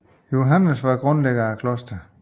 Johannes Scolasticus var grundlægger af klosteret